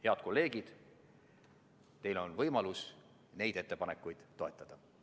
Head kolleegid, teil on võimalus neid ettepanekuid toetada.